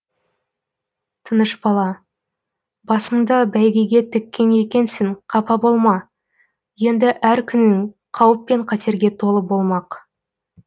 тынышбала басыңды бәйгеге тіккен екенсің қапа болма енді әр күнің қауіп пен қатерге толы болмақ